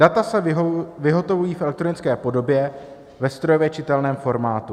Data se vyhotovují v elektronické podobě ve strojově čitelném formátu.